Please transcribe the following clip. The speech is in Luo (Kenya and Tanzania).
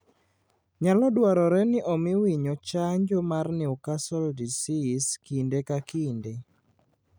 Nyalo dwarore ni omi winyo chanjo mar Newcastle disease kinde ka kinde.